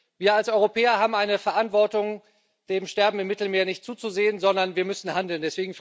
Wir als Europäer haben eine Verantwortung, dem Sterben im Mittelmeer nicht zuzusehen, sondern wir müssen handeln.